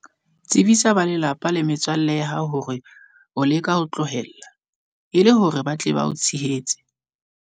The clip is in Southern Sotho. Tsebisa ba lelapa le metswalle ya hao hore o leka ho tlohela, e le hore ba tle ba o tshehetse.